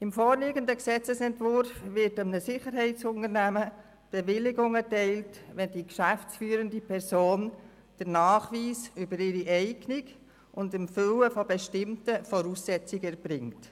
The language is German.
Gemäss dem vorliegenden Gesetzesentwurf wird einem Sicherheitsunternehmen die Bewilligung erteilt, wenn die geschäftsführende Person den Nachweis über ihre Eignung und das Erfüllen bestimmter Voraussetzungen erbringt.